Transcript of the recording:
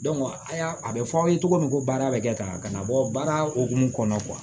a y'a a bɛ fɔ aw ye cogo min ko baara bɛ kɛ ka na bɔ baara hokumu kɔnɔna na